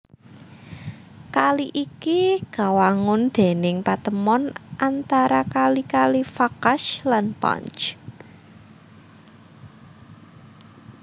Kali iki kawangun déning patemon antara kali kali Vakhsh lan Panj